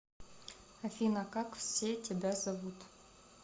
афина как все тебя зовут